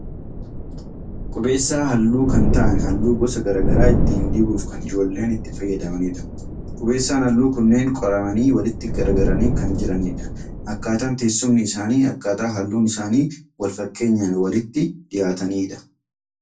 Qubeessaa haalluu kan ta'an haalluu gosa garaagaraa ittiin dibuuf kan ijoolleen itti fayyadamanidha. Qubeessaan haalluu kunneen qoramanii walitti garagaranii kan jiranidha. Akkaataan teessumni isaanii akkaataa haalluun isaanii walfakkeenyaan walitti dhiyaataniinidha.